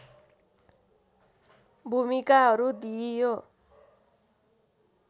भूमिकाहरू दिइयो